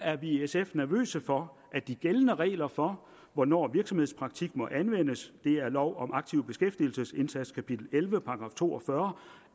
er vi i sf nervøse for at de gældende regler for hvornår virksomhedspraktik må anvendes det er lov om aktiv beskæftigelsesindsats kapitel elleve § to og fyrre